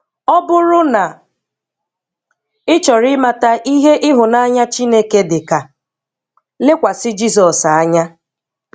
Ọ bụrụ na ị chọrọ ịmata ihe ịhụnanya Chineke dịka, lekwasị Jizọs anya.